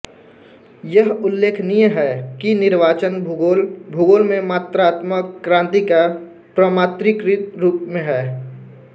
यह उल्लेखनीय है कि निर्वाचन भूगोल भूगोल में मात्रात्मक क्रांति का प्रमात्रिकृत रूप में है